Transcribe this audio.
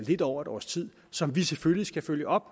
lidt over et år som vi selvfølgelig skal følge op